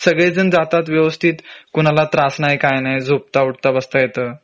सगळे जण जातात व्यवस्थित कुणाला त्रास नाय काय नाय झोपता उठता बसता येत